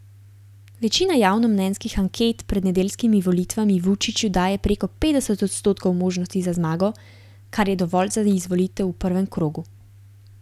Večina javnomnenjskih anket pred nedeljskimi volitvami Vučiću daje preko petdeset odstotkov možnosti za zmago, kar je dovolj za izvolitev v prvem krogu.